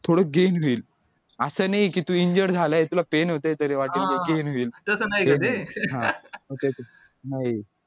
थोडं होईल असं नाही कि तू injured झालाय तुला pain होतंय तरी होईल नाही